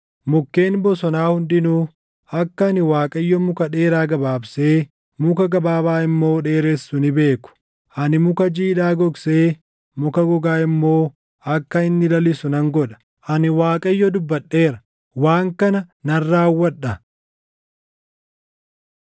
Mukkeen bosonaa hundinuu akka ani Waaqayyo muka dheeraa gabaabsee muka gabaabaa immoo dheeressu ni beeku. Ani muka jiidhaa gogsee muka gogaa immoo akka inni lalisu nan godha. “ ‘Ani Waaqayyo dubbadheera; waan kana nan raawwadha.’ ”